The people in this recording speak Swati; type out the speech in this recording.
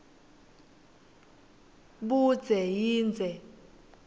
budze yindze